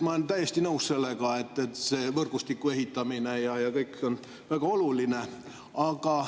Ma olen täiesti nõus sellega, et see võrgustiku ehitamine ja kõik on väga oluline.